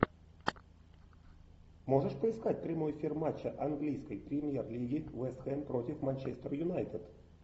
можешь поискать прямой эфир матча английской премьер лиги вест хэм против манчестер юнайтед